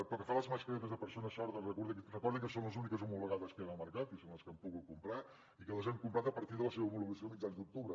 pel que fa a les mascaretes de persones sordes recordi que són les úniques homologades que hi ha en el mercat i són les que hem pogut comprar i que les hem comprat a partir de la seva homologació a mitjans d’octubre